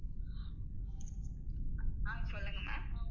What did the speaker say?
ஆஹ் சொல்லுங்க ma'am